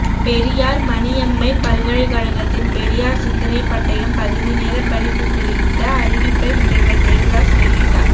பெரியார் மணியம்மை பல்கலைக்கழகத்தின் பெரியார் சிந்தனை பட்டயம் பகுதிநேர படிப்புகுறித்த அறிவிப்பை முனைவர் தேவதாஸ் வெளியிட்டார்